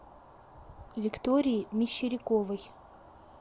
виктории мещеряковой